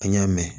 An y'a mɛn